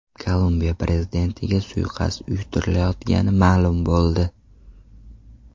Kolumbiya prezidentiga suiqasd uyushtirilayotgani ma’lum bo‘ldi.